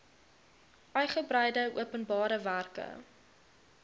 uigebreide openbare werke